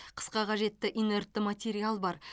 қысқа қажетті инертті материал бар